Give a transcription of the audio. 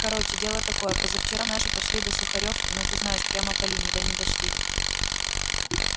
короче дело такое позавчера наши пошли до сухарёвки ну ты знаешь прямо по линии да не дошли